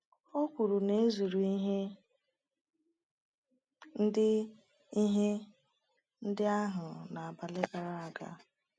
O kwuru na e zuru ihe ndị ihe ndị ahụ n’abalị gara aga.